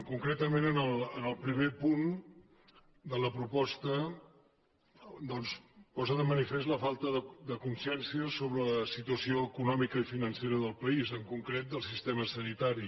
concretament el primer punt de la proposta posa de manifest la falta de consciència sobre la situació econòmica i financera del país en concret del sistema sanitari